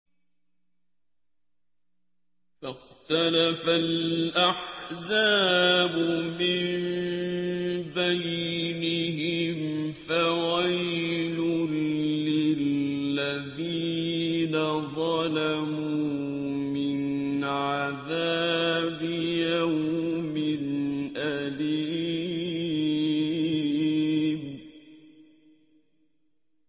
فَاخْتَلَفَ الْأَحْزَابُ مِن بَيْنِهِمْ ۖ فَوَيْلٌ لِّلَّذِينَ ظَلَمُوا مِنْ عَذَابِ يَوْمٍ أَلِيمٍ